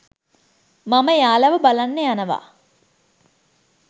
මම එයාලව බලන්න යනවා.